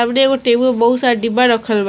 एगो टेबुल बहुत सारा डिब्बा रखल बा।